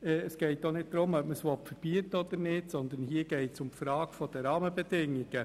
Es geht auch nicht darum, ob es verboten werden soll oder nicht, sondern es geht um die Frage der Rahmenbedingungen.